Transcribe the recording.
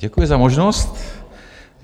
Děkuji za možnost.